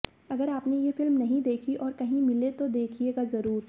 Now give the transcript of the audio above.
अगर आपने ये फिल्म नहीं देखी और कहीं मिले तो देखिएगा ज़रूर